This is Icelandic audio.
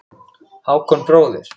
Hákon bróðir.